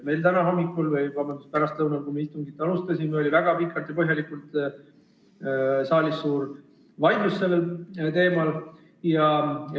Meil oli täna hommikul või, vabandust, pärastlõunal, kui me istungit alustasime, väga pikalt ja põhjalikult saalis suur vaidlus sellel teemal.